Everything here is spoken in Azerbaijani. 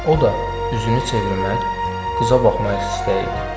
O da üzünü çevirmək, qıza baxmaq istəyirdi.